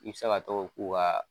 I bi se ka tɔgɔ k'u ka